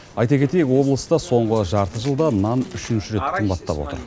айта кетейік облыста соңғы жарты жылда нан үшінші рет қымбаттап отыр